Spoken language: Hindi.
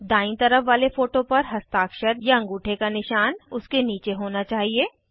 दायीं तरफ वाले फोटो पर हस्ताक्षरअँगूठे का निशान उसके नीचे होना चाहिए